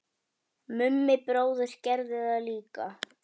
Mummi bróðir gerði það líka.